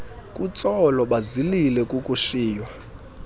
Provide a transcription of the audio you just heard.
kutsolo bazilile kukushiywa